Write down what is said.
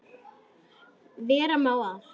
Vera má að